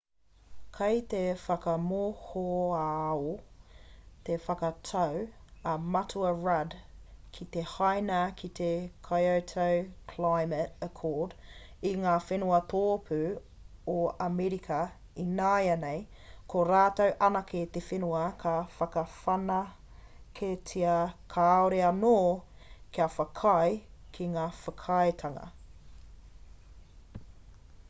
kei te whakamohoao te whakatau a matua rudd ki te haina i te kyoto climate accord i ngā whenua tōpū o amerika ināianei ko rātou anake te whenua kua whakawhanaketia kāore anō kia whakaae ki te whakaaetanga